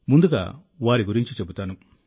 ముందుగా వారి గురించి చెబుతాను